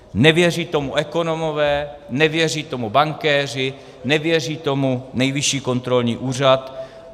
Nevěří tomu ekonomové, nevěří tomu bankéři, nevěří tomu Nejvyšší kontrolní úřad.